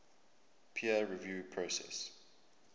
peer review process